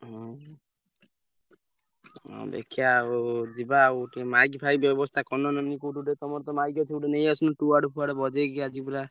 ହଁ ଆଉ ଦେଖିଆ ଆଉ ଯିବା ଆଉ ଟିକେ ମାଇକ ଫାଇକ ବ୍ୟବସ୍ଥା କରୁନ ନହେଲେ କୋଉଠୁ ଗୋଟେ ତମରତ ମାଇକ ଅଛି ଗୋଟେ ନେଇଆସୁନ ଫୁଆଡ ବଜେଇକି ଆଜି ପୁରା।